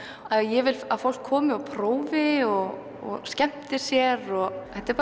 ég vil að fólk komi og prófi og skemmti sér og þetta er